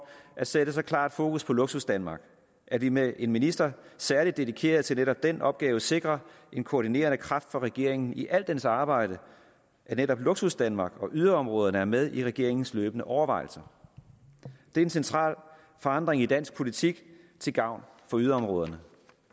at sætte så klart fokus på luksusdanmark at vi med en minister som særlig dedikeret til netop den opgave sikrer en koordinerende kraft for regeringen i al dens arbejde netop luksusdanmark og yderområderne er med i regeringens løbende overvejelser det er en central forandring i dansk politik til gavn for yderområderne